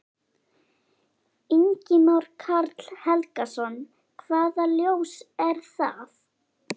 Ingimar Karl Helgason: Hvaða ljós er það?